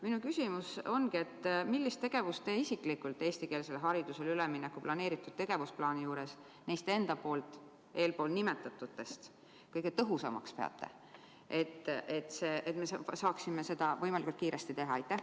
Minu küsimus on: millist tegevust teie isiklikult eestikeelsele haridusele ülemineku tegevusplaanis neist enda nimetatutest kõige tõhusamaks peate, et me saaksime seda võimalikult kiiresti teha?